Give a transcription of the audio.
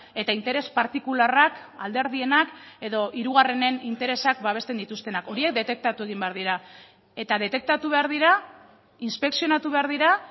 eta interes partikularrak alderdienak edo hirugarrenen interesak babesten dituztenak horiek detektatu egin behar dira eta detektatu behar dira inspekzionatu behar dira